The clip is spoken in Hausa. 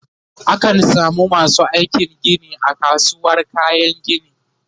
a kan samu masu aikin Gini a kasuwar kayan gini